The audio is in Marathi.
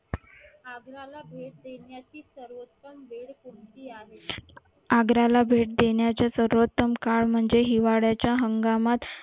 आग्र्याला भेट देण्याचा सर्वोत्तम काळ म्हणजे हिवाळ्याच्या हंगामात